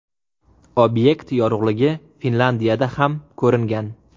Obyekt yorug‘ligi Finlyandiyada ham ko‘ringan.